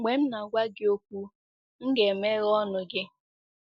Mgbe m na-agwa gị okwu, m ga-emeghe ọnụ gị.”